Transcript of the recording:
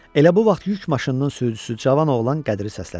Elə bu vaxt yük maşınının sürücüsü gənc oğlan Qədiri səslədi.